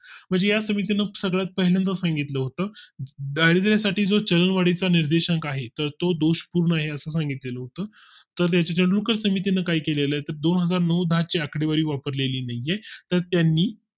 म्हणजे या समितीने सगळ्यात पहिल्यांदा सांगितलं होतं दारिद्र साठीच जो चलन निर्देशांक आहे तर तो दोष पूर्ण आहे असं सांगितलं होतं तर त्याच समितीने काही केले तर दोनहजार नऊ दहा च्या आकडेवारी वापरलेली नाही तर त्यांनी